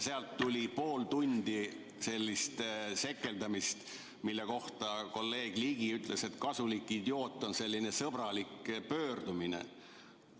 Sealt tuli pool tundi sellist sekeldamist ja kolleeg Ligi ütles, et "kasulik idioot" on selline sõbralik pöördumine.